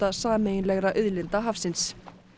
sameiginlegra auðlinda hafsins